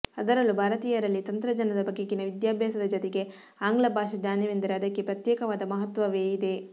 ಅದರಲ್ಲೂ ಭಾರತೀಯರಲ್ಲಿ ತಂತ್ರಜ್ಞಾನದ ಬಗೆಗಿನ ವಿದ್ಯಾಭ್ಯಾಸದ ಜತೆಗೆ ಆಂಗ್ಲ ಭಾಷಾ ಜ್ಞಾನವೆಂದರೆ ಅದಕ್ಕೆ ಪ್ರತ್ಯೇಕವಾದ ಮಹತ್ವವೇ ಇದೆ